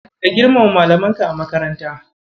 Ka girmama Malamanka a makaranta.